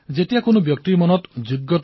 এয়া সেই ক্ষণ যত হৰাজিকাত বহুতে কান্দে